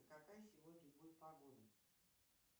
какая сегодня будет погода